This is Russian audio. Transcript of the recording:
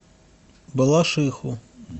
балашиху